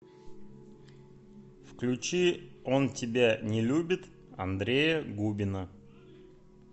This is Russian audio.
включи он тебя не любит андрея губина